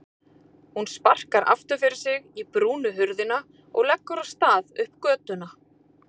Hún sparkar aftur fyrir sig í brúna hurðina og leggur af stað upp götuna.